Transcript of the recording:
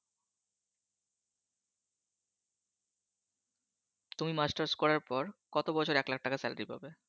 তুমি Masters করার পর কত বছর লাখ টাকা Salary পাবে?